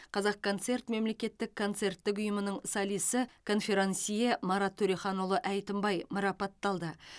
қазақконцерт мемлекеттік концерттік ұйымының солисті конферансье марат төреханұлы әйтімбай марапатталды